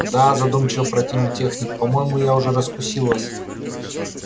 да-а задумчиво протянул техник по-моему я уже раскусил вас